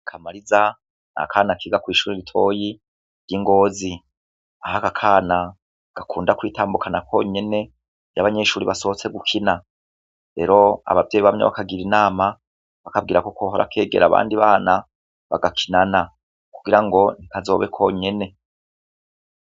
Kamariza ni akana kiga kw'ishure ritoyi, ry'i Ngozi. Aho aka kana, gakunda kwitambukana konyene, iyo abanyeshure basohotse gukina. Rero abavyeyi bamwe bakagira inama, bakabwira ko kohora kegera abandi bana, bagakinana. Kugira ngo, ntikazobe konyene.